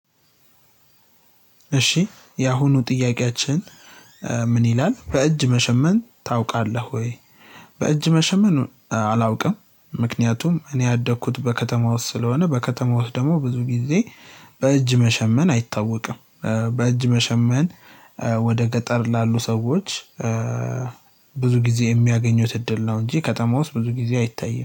እሺ የአሁኑ ጥያቄያችን። ምን ይላል በእጅ መሸመን ታውቃለህ ወይ? በእጅ መሸመን አ አላውቅም። ምክንያቱም እኔ ያደኩት በከተማ ውስጥ ስለሆነ በከተማ ውስጥ ደሞ ብዙ ጊዜ በእጅ መሸመን አይታወቅም። በእጅ መሸመን ወደ ገጠር ላሉ ሰዎች። ብዙ ጊዜ የሚያገኙት እድል ነው እንጂ ከተማ ውስጥ ብዙ ጊዜ አይታይም